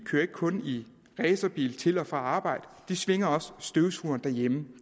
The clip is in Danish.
kører ikke kun i racerbil til og fra arbejde de svinger også støvsugeren derhjemme